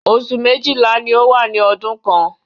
Oṣù méjìlá ni ó wà ní ọdún kan